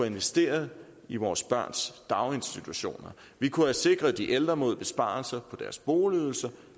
investeret i vores børns daginstitutioner vi kunne have sikret de ældre mod besparelser på deres boligydelse